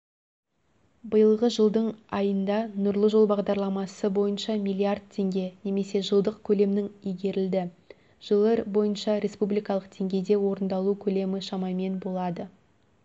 биылғы жылдың айында нұрлы жол бағдарламасы бойынша миллиард теңге немесе жылдық көлемнің игерілді жыл бойынша республикалық деңгейде орындалу көлемі шамамен болады